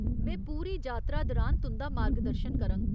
में पूरी जातरा दरान तुं'दा मार्गदर्शन करङ।